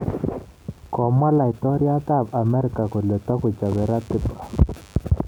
Komwa laitoryat ab Amerika kole tagechobe ratiba